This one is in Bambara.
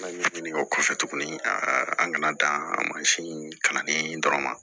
ɲini o kɔfɛ tuguni a an kana dan mansin nali in dɔrɔn ma